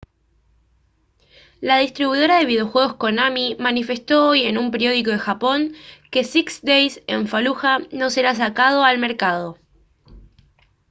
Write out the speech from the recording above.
la distribuidora de videojuegos konami manifestó hoy en un periódico de japón que six days en fallujah no será sacado al mercado